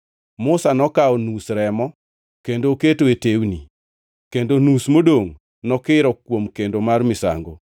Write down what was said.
Musa nokawo nus remo kendo oketo e tewni, kendo nus modongʼ nokiro kuom kendo mar misango.